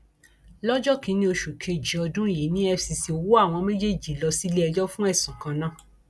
lọjọ kìnínní oṣù kejì ọdún yìí ni efcc wọ àwọn méjèèjì lọ síléẹjọ fún ẹsùn kan náà